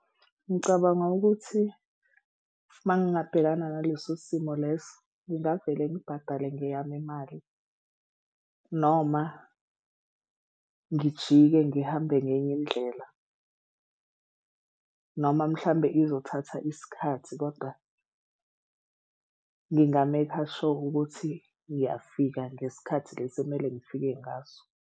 Ngicabanga ukuthi uma ngingabhekana naleso simo lesi ngingavele ngibhadale ngeyami imali noma ngijike ngihambe ngenye indlela. Noma mhlawumbe izothatha isikhathi kodwa nginga-make-a sure ukuthi ngiyafika ngesikhathi lesi okumele ngifike ngaso.